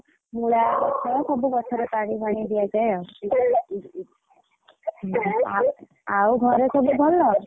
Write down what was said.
ମୂଳା ଗଛ ସବୁ ଗଛରେ ପାଣି ଫାଣି ଦିଆଯାଏ ଆଉ ଆ ଆଉ ଘରେ ସବୁ ଭଲ?